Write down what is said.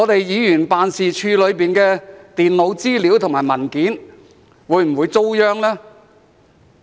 議員辦事處裏的電腦資料和文件會否遭殃呢？